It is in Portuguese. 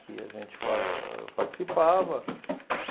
que a gente fa participava.